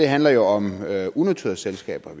handler jo om unoterede selskaber